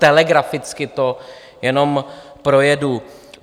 telegraficky to jenom projedu.